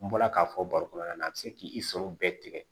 N bɔra k'a fɔ baro kɔnɔna na a bɛ se k'i sɔrɔ bɛɛ tigɛ